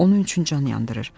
Onun üçün can yandırır.